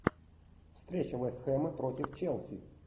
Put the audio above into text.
встреча вест хэма против челси